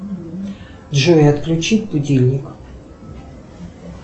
джой отключить будильник